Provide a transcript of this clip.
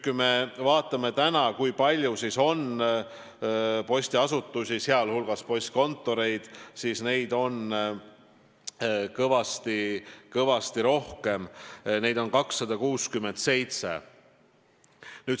Kui me vaatame täna, kui palju meil on postiasutusi, sh postkontoreid, siis näeme, et neid on kõvasti rohkem: neid on 267.